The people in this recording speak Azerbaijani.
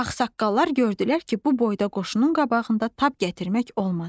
Ağsaqqallar gördülər ki, bu boyda qoşunun qabağında tab gətirmək olmaz.